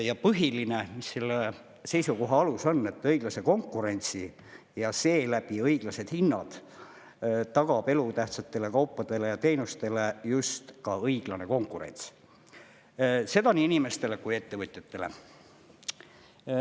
Ja põhiline, mis selle seisukoha alus on, et õiglase konkurentsi ja seeläbi õiglased hinnad tagab elutähtsatele kaupadele ja teenustele just ka õiglane konkurents – seda nii inimestele kui ka ettevõtjatele.